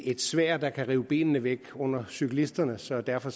et sværd der kan rive benene væk under cyklisterne så derfor